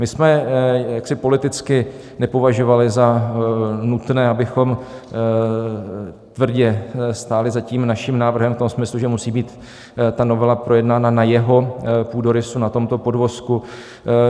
My jsme jaksi politicky nepovažovali za nutné, abychom tvrdě stáli za tím naším návrhem v tom smyslu, že musí být ta novela projednána na jeho půdorysu, na tomto podvozku.